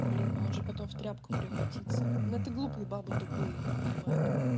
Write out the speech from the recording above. блин он же потом в тряпку превратиться но это глупые бабы тупые не понимают